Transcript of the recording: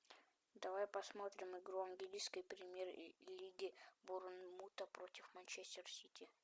давай посмотрим игру английской премьер лиги борнмута против манчестер сити